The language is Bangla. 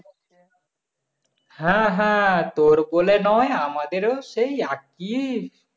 হ্যাঁ হ্যাঁ তোর বলে নয় আমাদের ও সেই একই